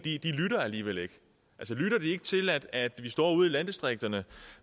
lytter alligevel ikke de lytter ikke til at at vi står ude i landdistrikterne